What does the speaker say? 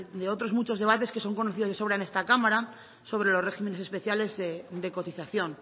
de otros muchos debates que son conocidos de sobra en esta cámara sobre los regímenes especiales de cotización